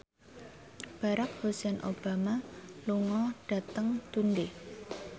Barack Hussein Obama lunga dhateng Dundee